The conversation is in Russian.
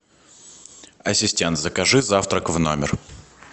ассистент закажи завтрак в номер